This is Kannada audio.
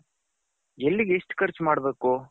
ಎಲ್ಲಿಗೆ ಎಷ್ಟು ಕರ್ಚು ಮಾಡ್ಬೇಕು.